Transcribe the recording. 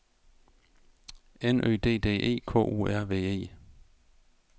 N Ø D D E K U R V E